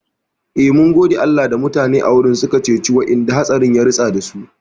Eh, mun gode Allah da mutane a wurin har suka ceci wa'inda hatsari ya ritsa dasu